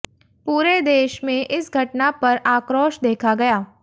पूरे देश में इस घटना पर आक्रोश देखा गया